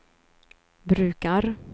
brukar